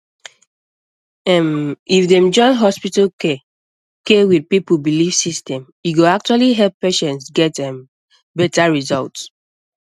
ehm if dem join hospital care care with people belief system e go actually help patients get um better result